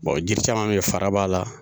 Wa jiri caman bɛ yen fara b'a la.